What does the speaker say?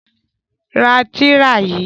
Ra tìrà yìí!